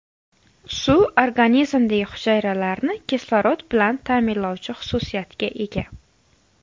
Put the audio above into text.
Suv organizmdagi hujayralarni kislorod bilan ta’minlovchi xususiyatga ega.